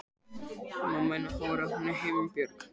Himinbjörg, hvað er á áætluninni minni í dag?